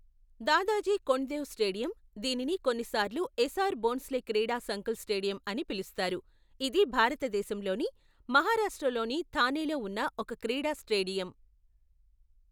Dadaji Kondadev stadium, దీనిని కొన్నిసార్లు ఎసార్ భోంస్లే క్రీడా సంకుల్ స్టేడియం అని పిలుస్తారు, ఇది భారతదేశంలోని మహారాష్ట్రలోని థానేలో ఉన్న ఒక క్రీడా స్టేడియం.